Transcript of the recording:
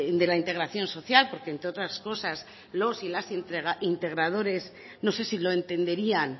de la integración social porque entre otras cosas los y las integradores no sé si lo entenderían